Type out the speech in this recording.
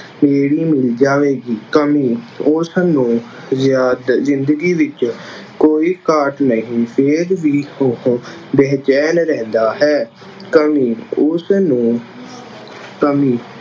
ਬੇੜੀ ਮਿਲ ਜਾਵੇਗੀ। ਕਮੀ- ਉਸਨੂੰ ਜਾਂ ਤਾਂ ਜ਼ਿੰਦਗੀ ਵਿੱਚ ਕੋਈ ਘਾਟ ਨਹੀਂ ਫੇਰ ਵੀ ਉਹ ਬੇਚੈਨ ਰਹਿੰਦਾ ਹੈ। ਕਮੀ- ਉਸਨੂੰ ਕਮੀ